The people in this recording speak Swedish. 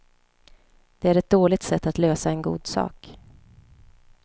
Det är ett dåligt sätt att lösa en god sak.